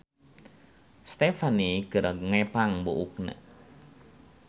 Stefhanie keur ngepang buukna